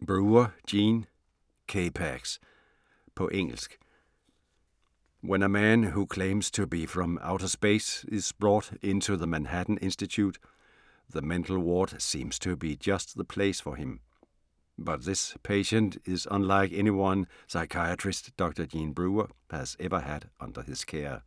Brewer, Gene: K-PAX På engelsk. When a man who claims to be from outer space is brought into the Manhattan Institute, the mental ward seems to be just the place for him. But this patient is unlike anyone psychiatrist Dr Gene Brewer has ever had under his care.